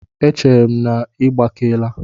Echere m na ị gbakeela?